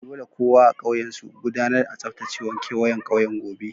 Dolle kowa a'ƙauyen su gudanar a tsabtacewan kewayen ƙauyen gobe.